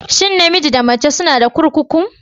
Shin namiji da mace suna da kurkukun?